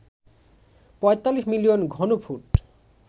৪৫ million ঘনফুট